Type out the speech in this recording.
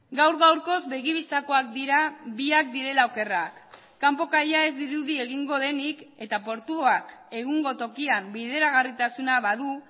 gaur gaurkoz begi bistakoak dira biak direla okerrak kanpo kaia ez dirudi egingo denik eta portuak egungo tokian bideragarritasuna badu